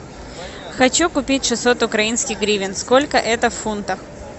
хочу купить шестьсот украинских гривен сколько это в фунтах